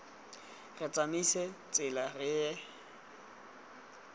re tsamaise tsela re ye